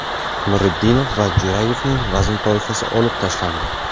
Nuriddinov va Jo‘rayevning vazn toifasi olib tashlandi.